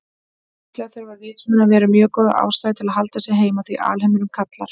Líklega þurfa vitsmunaverur mjög góða ástæðu til að halda sig heima því alheimurinn kallar.